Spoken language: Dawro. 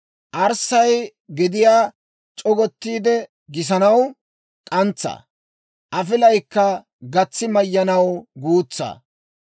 Arssay gediyaa c'ogottiide gisanaw k'antsaa; afilayikka gatsi mayyanaw guutsaa.